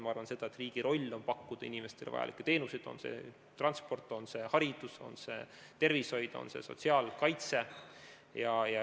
Ma arvan, et riigi roll on pakkuda inimestele vajalikke teenuseid, on see transport, on see haridus, on see tervishoid, on see sotsiaalkaitse.